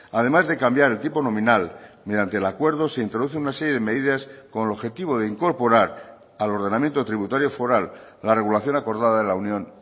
además de cambiar el tipo nominal mediante el acuerdo se introduce una serie de medidas con el objetivo de incorporar al ordenamiento tributario foral la regulación acordada de la unión